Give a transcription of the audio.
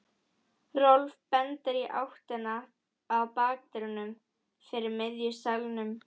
Rolf bendir í áttina að bakdyrunum fyrir miðjum salnum.